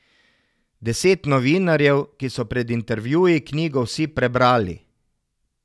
Deset novinarjev, ki so pred intervjuji knjigo vsi prebrali.